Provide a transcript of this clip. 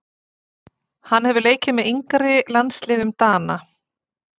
Hann hefur leikið með yngri landsliðum Dana.